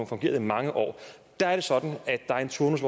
fungeret i mange år der er det sådan at der er en turnus